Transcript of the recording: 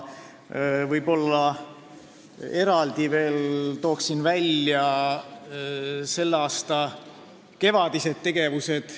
Toon veel eraldi välja selle aasta kevadised tegevused.